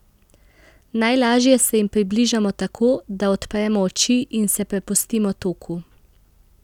Najlaže se jim približamo tako, da odpremo oči in se prepustimo toku.